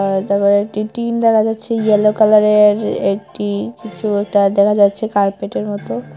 তারপরে একটি টিন দেখা যাচ্ছে ইয়েলো কালারের একটি কিছু একটা দেখা যাচ্ছে কার্পেটের মতো।